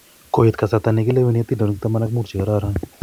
Koit kasarta nekilewenik atindonik taman ak muut che kororon